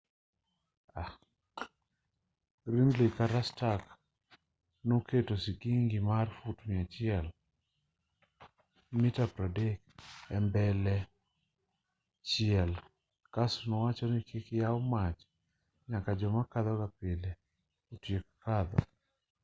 gridley kata stark noketo sigingi mar fut 100 mita 30 e mbele chiel kasto owachoni kik yaw mach nyaka joma kadhoga pile otiek kadho